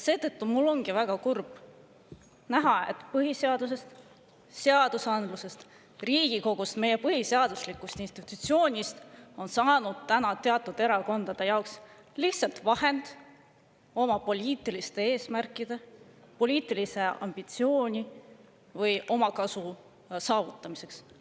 Seetõttu ongi mul väga kurb näha, et põhiseadusest, seadusandlusest, Riigikogust, meie põhiseaduslikust institutsioonist on teatud erakondade jaoks saanud lihtsalt vahend oma poliitiliste eesmärkide, poliitilise ambitsiooni või omakasu saavutamiseks.